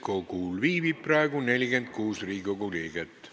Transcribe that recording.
Kohaloleku kontroll Täiskogul viibib praegu 46 Riigikogu liiget.